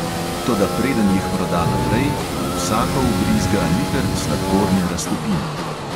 Toda preden jih proda naprej, v vsako vbrizga liter sladkorne raztopine.